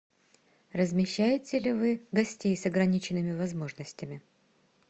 размещаете ли вы гостей с ограниченными возможностями